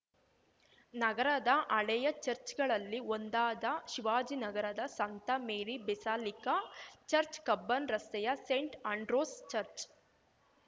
ನಗರದ ಹಳೆಯ ಚಚ್‌ರ್‍ಗಳಲ್ಲಿ ಒಂದಾದ ಶಿವಾಜಿನಗರದ ಸಂತ ಮೇರಿ ಬೆಸಲಿಕಾ ಚರ್ಚ್ ಕಬ್ಬನ್‌ ರಸ್ತೆಯ ಸೇಂಟ್‌ ಆಂಡ್ರ್ಯೂಸ್‌ ಚರ್ಚ್